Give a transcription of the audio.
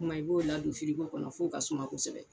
kuma i b'o ladon firigo kɔnɔ f'o ka suma kosɛbɛ.